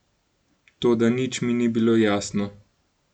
Toda nič mi ni bilo jasno.